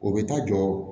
O bɛ taa jɔ